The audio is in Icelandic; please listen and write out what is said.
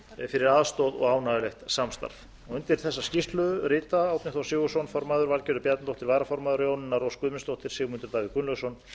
fyrir aðstoð og ánægjulegt samstarf undir þessa skýrslu rita árni þór sigurðsson formaður valgerður bjarnadóttir varaformaður jónína rós guðmundsdóttir sigmundur davíð gunnlaugsson